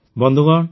ବନ୍ଧୁଗଣ